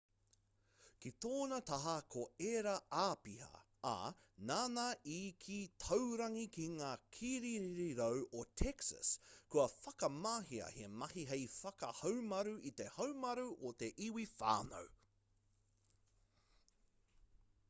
ki tōna taha ko ērā āpiha ā nāna i kī taurangi ki ngā kirirarau o texas kua whakamahia he mahi hei whakahaumaru i te haumaru o te iwi whānui